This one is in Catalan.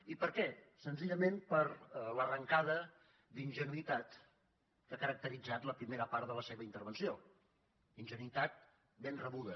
i per què senzillament per l’arrencada d’ingenuïtat que ha caracteritzat la primera part de la seva intervenció ingenuïtat ben rebuda